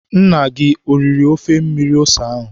Nna gị eriri ofe mmiri ose ahụ?